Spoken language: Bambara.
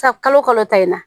San kalo kalo ta in na